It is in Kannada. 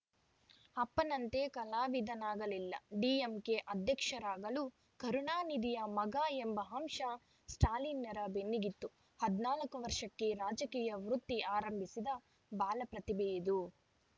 ಅಪ್ಪನಂತೆ ಕಲಾವಿದನಾಗಲಿಲ್ಲ ಡಿಎಂಕೆ ಅಧ್ಯಕ್ಷರಾಗಲು ಕರುಣಾನಿಧಿಯ ಮಗ ಎಂಬ ಅಂಶ ಸ್ಟಾಲಿನ್‌ರ ಬೆನ್ನಿಗಿತ್ತು ಹದಿನಾಲ್ಕು ವರ್ಷಕ್ಕೇ ರಾಜಕೀಯ ವೃತ್ತಿ ಆರಂಭಿಸಿದ ಬಾಲಪ್ರತಿಭೆಯಿದು